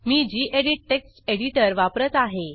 मी गेडीत text editor वापरत आहे